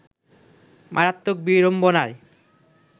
মারাত্মক বিড়ম্বনায়